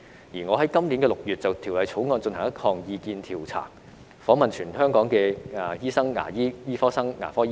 而我在今年6月就《條例草案》進行了一項意見調查，訪問全港醫生、牙醫、醫科生及牙科學生。